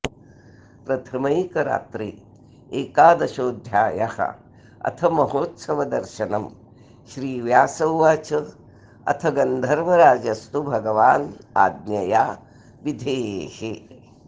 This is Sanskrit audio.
प्रथमैकरात्रे एकादशोऽध्यायः अथ महोत्सवदर्शनम् श्रीव्यास उवाच अथ गन्धर्वराजस्तु भगवान् आज्ञया विधेः